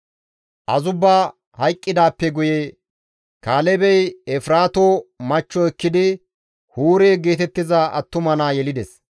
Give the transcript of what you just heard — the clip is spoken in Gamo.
Azubba hayqqidaappe guye Kaalebey Efraato machcho ekkidi Huure geetettiza attuma naa yelides.